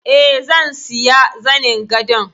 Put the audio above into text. Eh, zan siya zanin gadon.